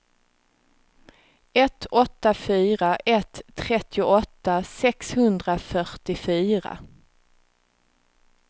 ett åtta fyra ett trettioåtta sexhundrafyrtiofyra